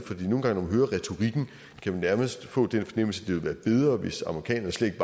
nærmest få den fornemmelse ville være bedre hvis amerikanerne slet